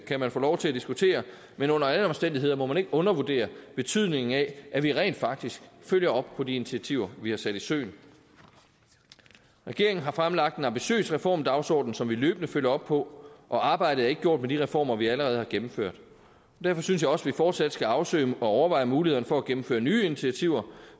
kan man få lov til at diskutere men under alle omstændigheder må man ikke undervurdere betydningen af at vi rent faktisk følger op på de initiativer vi har sat i søen regeringen har fremlagt en ambitiøs reformdagsorden som vi løbende følger op på og arbejdet er ikke gjort med de reformer vi allerede har gennemført derfor synes jeg også vi fortsat skal afsøge og overveje mulighederne for at gennemføre nye initiativer